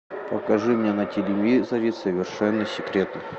покажи мне на телевизоре совершенно секретно